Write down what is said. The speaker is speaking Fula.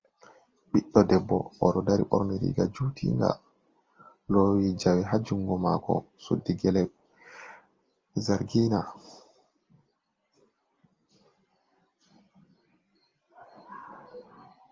Ɓiɗɗo debbo, oɗo dari ɓorne riga jutinga lowi jawe hajungo mako suddi gele zargina.